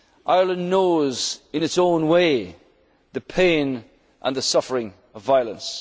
achievement. Ireland knows in its own way the pain and the suffering